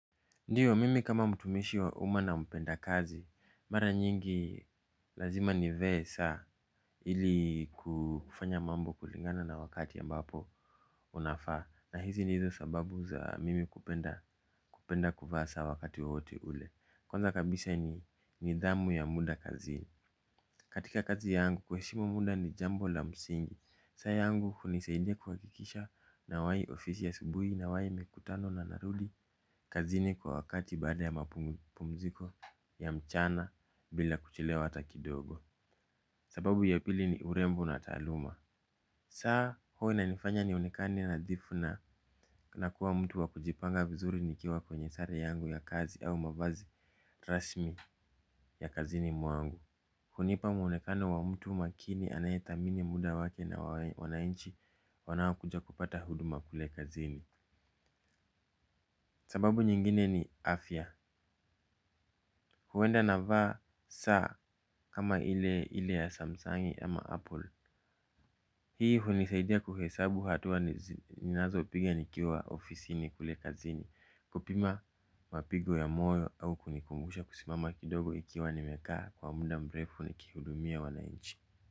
Ndiyo, mimi kama mtumishi wa uma na mpenda kazi, mara nyingi lazima ni vee saa ili kufanya mambo kulingana na wakati ambapo unafaa, na hizi ni hizo sababu za mimi kupenda kuvaa saa wakati wowote ule. Kwanza kabisa ni nidhamu ya muda kazini. Katika kazi yangu kuheshimu muda ni jambo la msingi. Saa yangu hunisaidia kuhakikisha nawai ofisi asubui nawai mikutano na narudi. Kazini kwa wakati baada ya mapumziko ya mchana bila kuchelewa ata kidogo. Sababu ya pili ni urembo na taaluma. Saa huwa inanifanya nionekane nadhifu na na kuwa mtu wakujipanga vizuri nikiwa kwenye sare yangu ya kazi au mavazi rasmi ya kazini mwangu. Hunipa mwonekano wa mtu makini anayethamini muda wake na wanainchi wanaokuja kupata huduma kule kazini. Sababu nyingine ni afya. Huenda navaa saa kama ile ya Samsung ama Apple. Hii hunisaidia kuhesabu hatua ninazo piga nikiwa ofisini kule kazini. Kupima mapigo ya moyo au kunikumbusha kusimama kidogo ikiwa nimekaa kwa muda mrefu nikihudumia wanainchi.